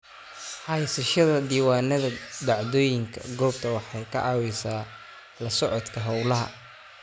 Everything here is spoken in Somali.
Haysashada diiwaannada dhacdooyinka goobta waxay ka caawisaa la socodka hawlaha.